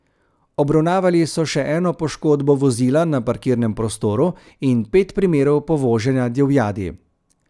Obravnavali so še eno poškodbo vozila na parkirnem prostoru in pet primerov povoženja divjadi.